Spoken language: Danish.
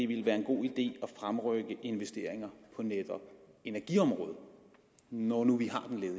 ville være en god idé at fremrykke investeringer på netop energiområdet når nu vi